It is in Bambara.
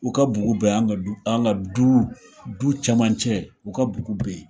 U ka bugu bɛ an ka an ka duu du camancɛ u ka bugu be ye.